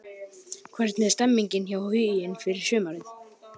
Hvernig er stemningin hjá Huginn fyrir sumarið?